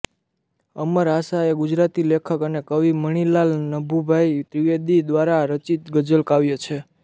અમર આશા એ ગુજરાતી લેખક અને કવિ મણિલાલ નભુભાઈ દ્વિવેદી દ્વારા રચિત ગઝલકાવ્ય છે